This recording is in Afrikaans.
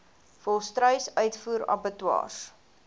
volstruis uitvoer abattoirs